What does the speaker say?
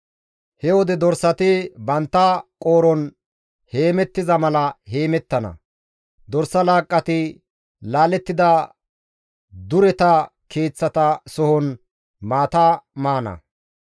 He wode dorsati bantta qooron heemettiza mala heemettana; dorsa laaqqati laalettida dureta keeththata sohon maata maana.